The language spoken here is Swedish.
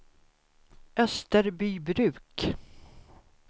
Österbybruk